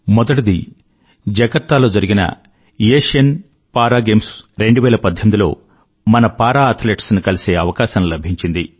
మొదటిది జకార్తాలో జరిగిన ఆసియన్ పారా Games2018లో మన పారా అథ్లెట్స్ ను కలిసే అవకాశం లభించింది